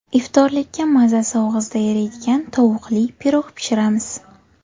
Iftorlikka mazasi og‘izda eriydigan tovuqli pirog pishiramiz.